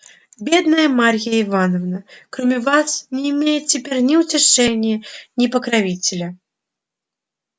бедная марья ивановна кроме вас не имеет теперь ни утешения ни покровителя